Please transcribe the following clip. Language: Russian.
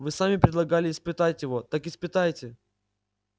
вы сами предлагали испытать его так испытайте